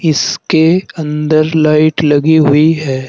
इसके अंदर लाइट लगी हुई है।